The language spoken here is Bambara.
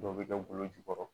Dɔw bɛ kɛ golo jukɔrɔ